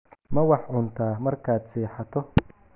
Ma wax cuntaa markaad seexato?